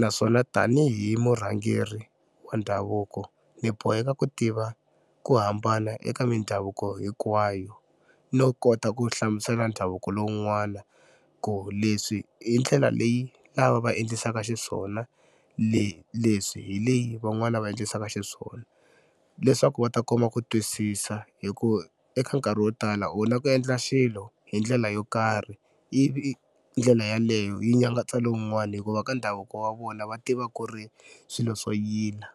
naswona tanihi murhangeri wa ndhavuko ni boheka ku tiva ku hambana eka mindhavuko hinkwayo no kota ku hlamusela ndhavuko lowun'wana ku leswi hi ndlela leyi lava va endlisaka xiswona leswi hi leyi van'wani va endlisaka xiswona leswaku va ta kuma ku twisisa hi ku eka nkarhi wo tala u na ku endla xilo hi ndlela yo karhi ivi ndlela yaleyo yi nyangatsa lowun'wani hikuva ka ndhavuko wa vona va tiva ku ri swilo swo yila.